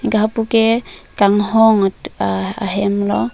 anke lapu ke kanghong ahem lo.